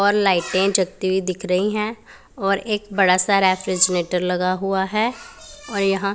और लाइटें जलती हुई दिख रही है और एक बड़ा सा रेफ्रिजरेटर लगा हुआ है और यहां--